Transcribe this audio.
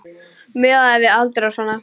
Miðað við aldur og svona.